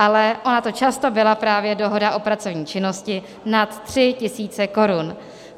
Ale ona to často byla právě dohoda o pracovní činnosti nad 3 tisíc korun.